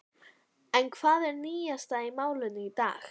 En hvað er nýjast í málinu í dag?